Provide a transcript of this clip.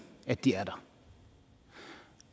at de er der